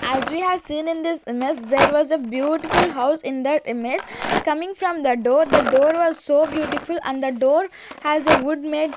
as we have seen in this image there was a beautiful house in that image coming from the door the door was so beautiful and the door has a wood mades --